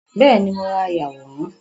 Bẹ́ẹ̀ni, mo ra ayàwòrán